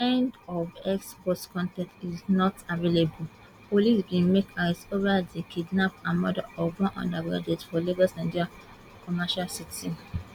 end of x post con ten t is not available police bin make arrest over di kidnap and murder of one undergraduate for lagos nigeria commercial city